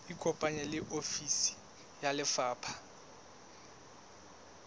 ikopanye le ofisi ya lefapha